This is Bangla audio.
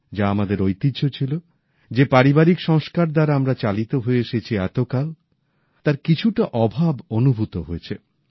যা আমাদের ঐতিহ্য ছিল যে পারিবারিক সংস্কার দ্বারা আমরা চালিত হয়ে এসেছি এতকাল তার কিছুটা অভাব অনুভূত হয়েছে